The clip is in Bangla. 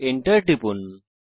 Enter টিপুন